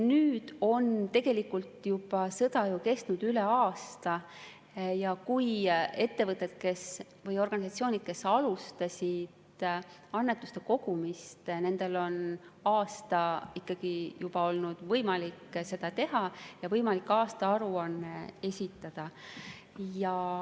Nüüd on tegelikult sõda kestnud juba üle aasta ja ettevõtetel või organisatsioonidel, kes alustasid annetuste kogumist, on ikkagi olnud võimalik aasta aega seda tööd teha ja võimalik ka aastaaruanne esitada.